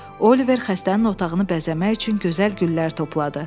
Oliver xəstənin otağını bəzəmək üçün gözəl güllər topladı.